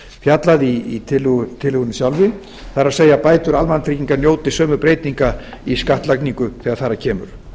fjallað í tillögunni sjálfri það er að bætur almannatrygginga njóti sömu breytinga í skattlagningu þegar þar að kemur